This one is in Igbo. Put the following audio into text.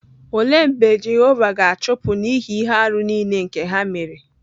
Òle mb͕e Jehova gāchupu n'ihi ihe-árú nile nke ha mere?